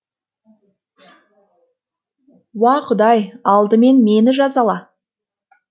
уа құдай алдымен мені жазала